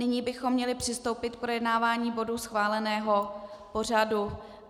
Nyní bychom měli přistoupit k projednávání bodů schváleného pořadu.